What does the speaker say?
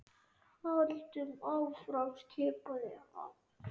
Höldum áfram skipaði hann.